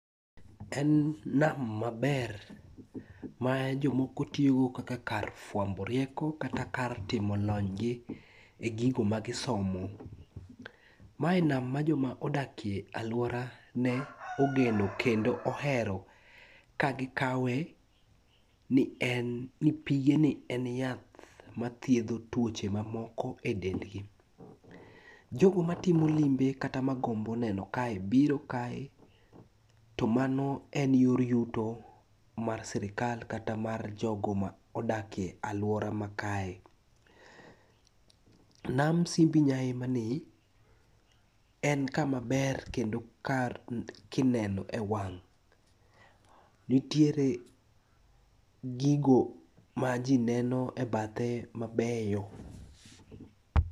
En nam maber ma jomoko tiyogo kaka kar fwambo rieko kata kar timo lonygi e gigo magisomo. Mae nam ma joma odakie alworane ogeno kendo ohero kagikawe ni pigeni en yath mathiedho tuoche mamoko e dendgi. Jogo matiomo limbe kata magombo neno kae biro kae to mano en yor yuto mar sirikal kata mar jogo ma odakie alwora makae. Nam Simbi Nyaima ni, en kama ber kendo kar kineno e wang'. Nitiere gigo ma ji neno e bathe mabeyo.